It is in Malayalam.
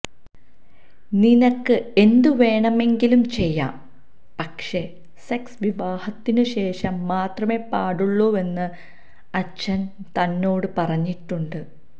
നിനക്ക് എന്തുവേണമെങ്കിലും ചെയ്യാം പക്ഷേ സെക്സ് വിവാഹത്തിനുശേഷം മാത്രമെ പാടുള്ളുവെന്ന് അച്ഛന് തന്നോട് പറഞ്ഞിട്ടുണ്ട്